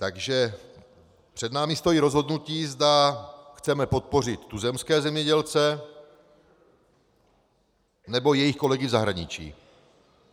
Takže před námi stojí rozhodnutí, zda chceme podpořit tuzemské zemědělce, nebo jejich kolegy v zahraničí.